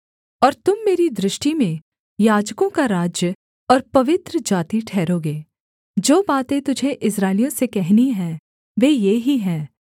और तुम मेरी दृष्टि में याजकों का राज्य और पवित्र जाति ठहरोगे जो बातें तुझे इस्राएलियों से कहनी हैं वे ये ही हैं